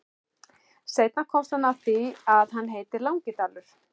Seinna komst hann að því að hann heitir Langidalur.